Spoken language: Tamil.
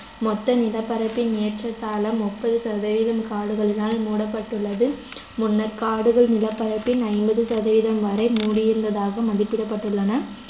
மொத்த நிலப்பரப்பின் ஏற்றத்தாழ முப்பது சதவீதம் காடுகளினால் மூடப்பட்டுள்ளது முன்னர் காடுகள் நிலப்பரப்பின் ஐம்பது சதவீதம் வரை மூடியிருந்ததாக மதிப்பிடபட்டுள்ளன